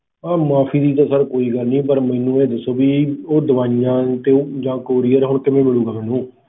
ਮਾਫੀ ਦੀ ਤਾਂ sir ਕੋਈ ਗੱਲ ਨੀ ਮੈਨੂੰ ਇਹ ਦੱਸੋ ਵੀ ਉਹ ਦਵਾਈਆਂ ਤੇ ਉਹ ਜਿਹੜਾ courier ਆ ਉਹ ਕਿਵੇਂ ਮਿਲੂਗਾ ਮੈਨੂੰ